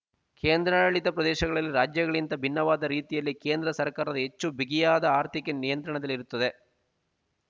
ಕೇಂದ್ರಾಡಳಿತ ಪ್ರದೇಶಗಳಲ್ಲಿ ರಾಜ್ಯಗಳಿಗಿಂತ ಭಿನ್ನವಾದ ರೀತಿಯಲ್ಲಿ ಕೇಂದ್ರ ಸರ್ಕಾರದ ಹೆಚ್ಚು ಬಿಗಿಯಾದ ಆರ್ಥಿಕ ನಿಯಂತ್ರಣದಲ್ಲಿರುತ್ತದೆ